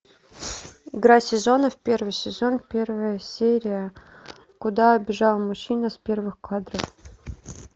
игра сезонов первый сезон первая серия куда бежал мужчина с первых кадров